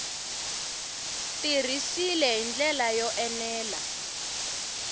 tirhisiwile hi ndlela yo enela